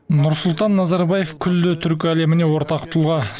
нұрсұлтан назарбаев күллі түркі әлеміне ортақ тұлға